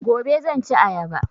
Gobe zan ci ayaba